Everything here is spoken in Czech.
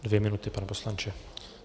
Dvě minuty, pane poslanče.